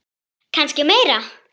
Kannski meira.